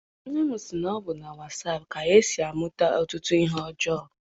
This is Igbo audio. Nne m sị na ọ bụ na wasaapụ ka e si amụta ọtụtụ ihe ọjọọ.